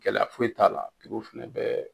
Gɛlɛya foyi t'a la, olu fɛnɛ bɛ